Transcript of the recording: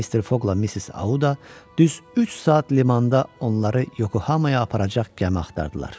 Mr. Foqla Missis Auda düz üç saat limanda onları Yokohamaya aparacaq gəmi axtardılar.